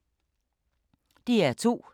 DR2